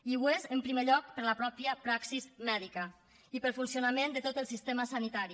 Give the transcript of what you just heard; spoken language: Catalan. i ho és en primer lloc per a la mateixa praxi mèdica i per al funcionament de tot el sistema sanitari